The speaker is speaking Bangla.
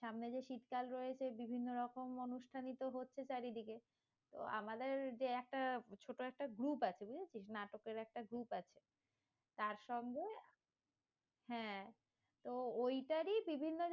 সামনে যে শীতকাল রয়েছে বিভিন্ন রকম অনুষ্ঠানই তো হচ্ছে চারিদিকে, তো আমাদের যে একটা ছোট একটা group আছে বুঝেছিস? নাটকের একটা group আছে, তারসঙ্গে, হ্যাঁ ওই টারি বিভিন্ন